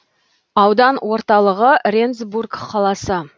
аудан орталығы рендсбург қаласы